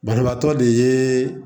Banabaatɔ de ye